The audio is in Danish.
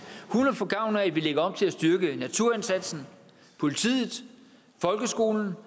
hun vil få gavn af at vi lægger op til at styrke naturindsatsen politiet folkeskolen